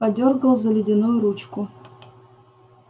подёргал за ледяную ручку